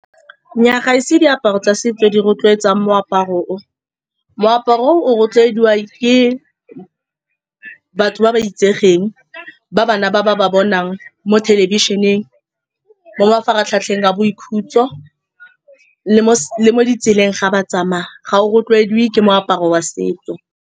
Nnyaa, ga ise diaparo tsa setso tse di rotloetsang moaparo. O, moaparo o o rotloediwa ke batho ba ba itsegeng, ba bana ba ba-ba bonang mo thelebišeneng, mo mafaratlhatlheng a boikhutso le mo ditseleng fa ba tsamaya. Ga o rotloediwe ke moaparo wa setso.